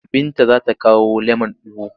Binta za ta kawo lemon ugu.